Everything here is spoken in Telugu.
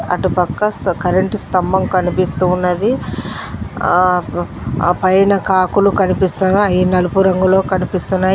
అటు పక్క స కరెంటు స్థంభం కనిపిస్తూ ఉన్నది ఆ ఆ పైన కాకులు కనిపిస్తగా అయి నలుపు రంగులో కనిపిస్తున్నాయ్.